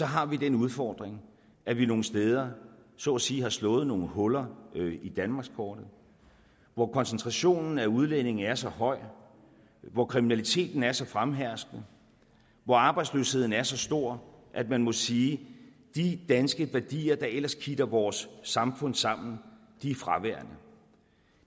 har den udfordring at vi nogle steder så at sige har slået nogle huller i danmarkskortet hvor koncentrationen af udlændinge er så høj hvor kriminaliteten er så fremherskende hvor arbejdsløsheden er så stor at man må sige at de danske værdier der ellers kitter vores samfund sammen er fraværende